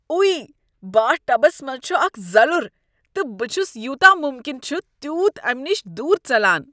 ایہ، bath tubs منٛز چھُ اکھ زلُر تہٕ بہٕ چھس یوٗتاہ مُمكِن چھُ تیوٗت امہِ نش دوٗر ژلان۔